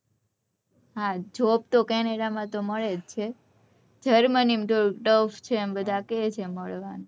હા job તો canada માં મળે જ છે geremany માં થોડું tough છે બધા એમ કે છે મળવાનું